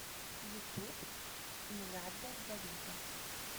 ютуб ин э гадда да вида